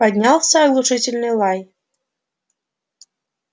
поднялся оглушительный лай